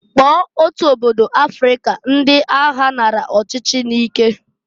Kpọọ otu obodo Afrịka ndị agha nara ọchịchị nike.